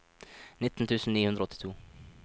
nitten tusen ni hundre og åttito